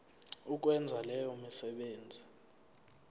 ukwenza leyo misebenzi